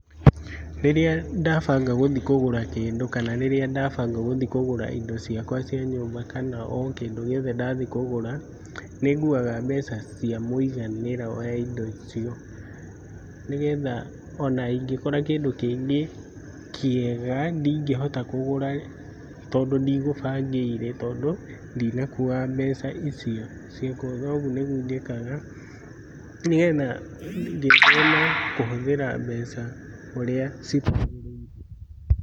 Rĩrĩa dabanga gũthiĩ kũgũra kĩndũ kana rĩrĩa dabanga gũthiĩ kũgũra indo ciakwa cia nyũmba, kana okĩndũ gĩothe ndathiĩ kũgũra. Ninguuaga mbeca cia mũiganĩra oyaindo icio. Nĩgetha onaingĩkora kĩngũ kĩngĩ kĩega ndingĩhota kũgũra tondũ ndigũbangĩire tondũ ndinakua mbeca icio cia kũgũra. Ũguo nĩguo njĩkaga ngĩgĩe na kũhũthĩra mbeca ũrĩa ciagĩrĩire.